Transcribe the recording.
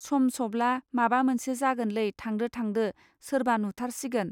सम सब्ला माबा मोनसे जागोनलै थांदो थांदो सोरबा नुथारसिगोन